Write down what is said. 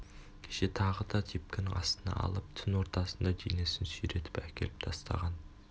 кеше тағы да тепкінің астына алып түн ортасында денесін сүйретіп әкеліп тастаған